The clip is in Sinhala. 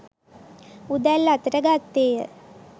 උදැල්ල අතට ගත්තේය